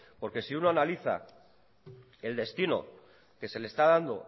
porque si uno analiza el destino que se le está dando